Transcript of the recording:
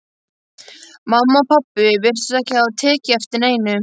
Mamma og pabbi virtust ekki hafa tekið eftir neinu.